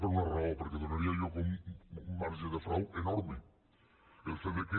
per una raó perquè donaria lloc a un marge de frau enorme el fet que